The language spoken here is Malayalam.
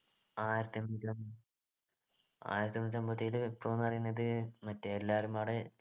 ആയിരത്തി എണ്ണൂറ്റിയം ആയിരത്തി എണ്ണൂറ്റിഅമ്പത്തിയേഴിലെ വിപ്ലവം ന്നു പറയുന്നത് മറ്റേ എല്ലാരും കൊറേ